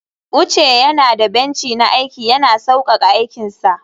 uche yana da benci na aiki, yana sauƙaƙa aikinsa